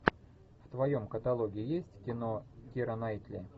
в твоем каталоге есть кино кира найтли